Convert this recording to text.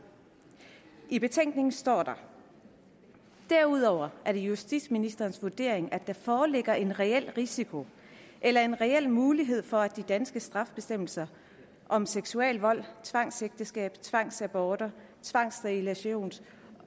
i betænkningen står der derudover er det justitsministerens vurdering at der foreligger en reel risiko eller en reel mulighed for at de danske strafbestemmelser om seksuel vold tvangsægteskab tvangsaborter og tvangssterilisation